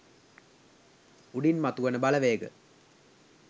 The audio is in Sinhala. උඩින් මතු වන බලවේග